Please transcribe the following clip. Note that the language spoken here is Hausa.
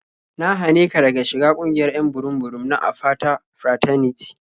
Na hane ka daga shiga ƙungiyar 'yan burum-burum na Apata Fraternity.